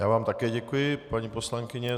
Já vám také děkuji, paní poslankyně.